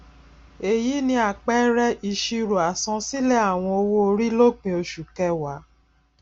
èyí ni àpẹẹrẹ ìṣirò àsansílẹ àwọn owoori lópin oṣu kẹwàá